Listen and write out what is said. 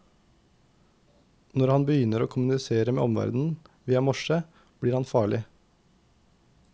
Når han begynner å kommunisere med omverdenen via morse, blir han farlig.